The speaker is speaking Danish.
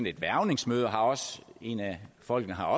et hvervningsmøde og en af folkene har